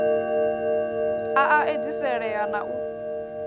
a a edziselea na u